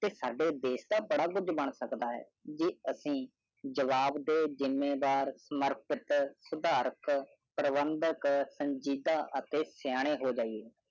ਤੇ ਸਾਡੇ ਦੇਸ਼ ਦਾ ਬੜਾ ਕੁਛ ਬਣ ਸਕਦਾ ਹੈ ਜੇ ਅਸੀਂ ਜਵਾਬ ਦੇ ਜਿਮਬਾਰ ਮਰਕਟ ਉਦਾਰਕ ਪਰਵੰਦਕ ਸੰਜੀਦਾ ਅਤੇ ਸਿਆਣੇ ਹੋ ਜਾਈਏ